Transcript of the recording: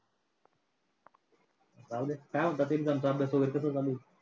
राहुदे. काय म्हणतात exam चा अभ्यास वगैरे कसं चालू आहे?